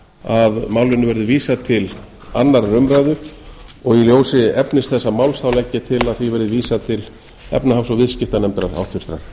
að málinu verði vísað til annarrar umræðu og í ljósi efnis þessa máls legg ég til að því verði vísað til háttvirtrar efnahags og viðskiptanefndar